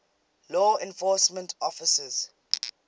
law enforcement officers